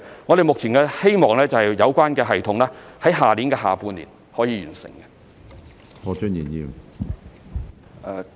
我們目前希望有關系統可以在明年下半年完成。